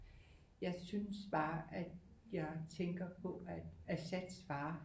Jeg synes bare at jeg tænkter på at Assads far